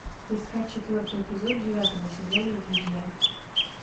искать четвертый эпизод девятого сезона друзья